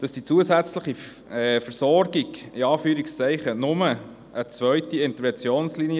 Die zusätzliche Versorgung ist «nur» eine zweite Interventionslinie;